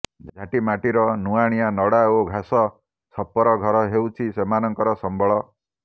ଝାଟିମାଟିର ନୂଆଣିଆ ନଡ଼ା ଓ ଘାସ ଛପର ଘର ହେଉଛି ସେମାନଙ୍କର ସମ୍ବଳ